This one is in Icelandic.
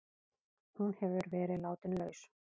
Hún hefur verið látin laus